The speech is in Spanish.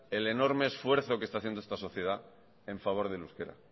el enorme esfuerzo que está haciendo esta sociedad en favor del euskera